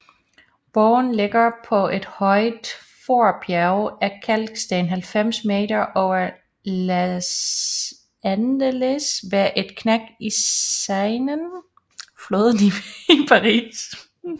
Borgen ligger på et højt forbjerg af kalksten 90 m over Les Andelys ved et knæk i Seinen